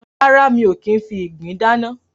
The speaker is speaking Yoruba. Rárá, mi ò kì í ń fi ìgbín dáná.